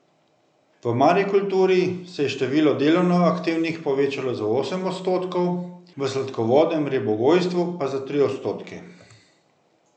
V marikulturi se je število delovno aktivnih povečalo za osem odstotkov, v sladkovodnem ribogojstvu pa za tri odstotke.